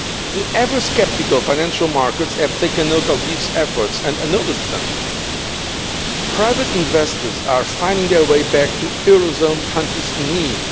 The ever sceptical financial markets have taken note of these efforts and acknowledged them. Private investors are finding their way back to Eurozone countries in need.